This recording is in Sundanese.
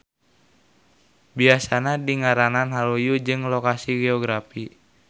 Biasana dingaranan luyu jeung lokasi geografi.